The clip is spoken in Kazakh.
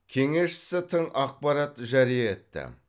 кеңесшісі тың ақпарат жария етті